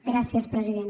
gràcies president